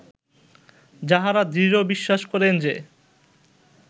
যাঁহারা দৃঢ় বিশ্বাস করেন যে